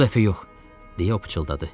Bu dəfə yox, deyə o pıçıldadı.